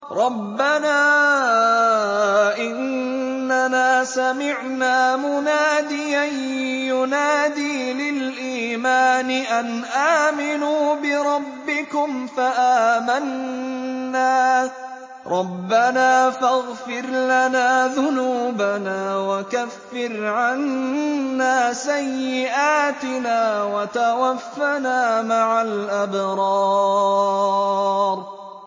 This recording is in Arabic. رَّبَّنَا إِنَّنَا سَمِعْنَا مُنَادِيًا يُنَادِي لِلْإِيمَانِ أَنْ آمِنُوا بِرَبِّكُمْ فَآمَنَّا ۚ رَبَّنَا فَاغْفِرْ لَنَا ذُنُوبَنَا وَكَفِّرْ عَنَّا سَيِّئَاتِنَا وَتَوَفَّنَا مَعَ الْأَبْرَارِ